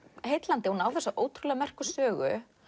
heillandi hún á þessa ótrúlega merku sögu